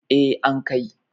eh an Kai